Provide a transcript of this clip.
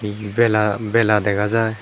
he he bela bela dagajar.